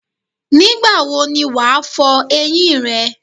Nígbà wo ni wàá fo eyín rè?